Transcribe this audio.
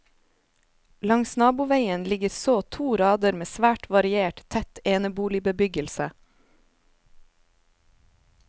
Langs naboveien ligger så to rader med svært variert, tett eneboligbebyggelse.